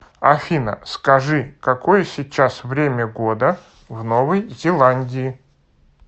афина скажи какое сейчас время года в новой зеландии